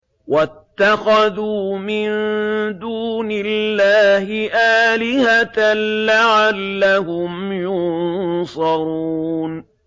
وَاتَّخَذُوا مِن دُونِ اللَّهِ آلِهَةً لَّعَلَّهُمْ يُنصَرُونَ